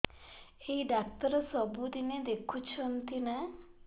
ଏଇ ଡ଼ାକ୍ତର ସବୁଦିନେ ଦେଖୁଛନ୍ତି ନା